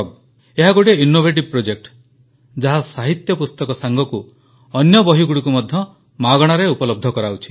ଏହା ଗୋଟିଏ innovative project ଯାହା ସାହିତ୍ୟ ପୁସ୍ତକ ସାଙ୍ଗକୁ ଅନ୍ୟ ବହିଗୁଡ଼ିକ ମଧ୍ୟ ମାଗଣାରେ ଉପଲବ୍ଧ କରାଉଛି